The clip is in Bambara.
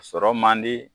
Sɔrɔ man di